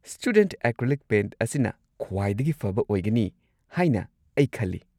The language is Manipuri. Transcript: ꯁ꯭ꯇꯨꯗꯦꯟꯠ ꯑꯦꯀ꯭ꯔꯤꯂꯤꯛ ꯄꯦꯟꯠ ꯑꯁꯤꯅ ꯈ꯭ꯋꯥꯏꯗꯒꯤ ꯐꯕ ꯑꯣꯏꯒꯅꯤ ꯍꯥꯏꯅ ꯑꯩ ꯈꯜꯂꯤ꯫